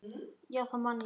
Já, það man ég